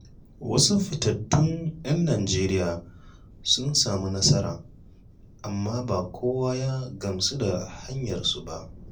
Wasu fitattun ‘yan Najeriya sun sami nasara, amma ba kowa ya gamsu da hanyarsu ba.